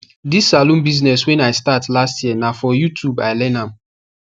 this saloon business wey i start last year na for youtub i learn am